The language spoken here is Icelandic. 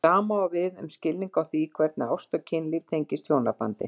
Sama á við um skilning á því hvernig ást og kynlíf tengist hjónabandinu.